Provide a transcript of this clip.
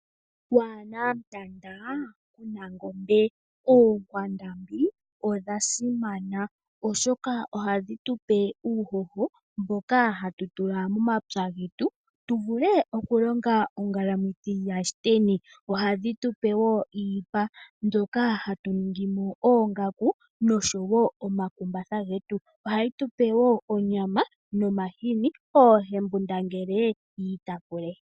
Waana mutanda kuna ngombe. Oonkwandambi odha simana oshoka ohadhi tupe uuhoho mboka hatu tula momapya getu tu vule okulonga ongalamwithi yaShiteni. Ohadhi tupe wo iipa mbyoka hatu ningimo oongaku noshowo omakumbatha getu. Ohayi tupe wo onyama nomahini oohembundangele yiitapule.